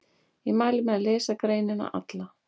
Ég mæli með að lesa greinina alla.